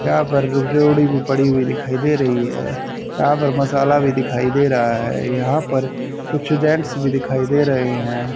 यहां पर रुप जोड़ी भी पड़ी हुई दिखाई दे रही है यहां पर मसाला भी दिखाई दे रहा है यहां पर कुछ जेंट्स भी दिखाई दे रहे हैं।